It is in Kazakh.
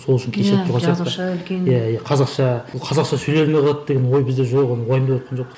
сол үшін кешіріп тұрған сияқты иә иә қазақша бұл қазақша сөйлей алмай қалады деген ой бізде жоқ ол уайымдаватқан жоқпыз